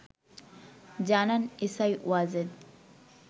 জানান এসআই ওয়াজেদ